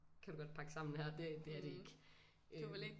Kan du godt pakke sammen her det det er det ikke øh